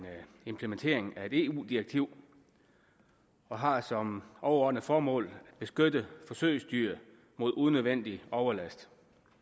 implementering af et eu direktiv og har som overordnet formål at beskytte forsøgsdyr mod unødvendig overlast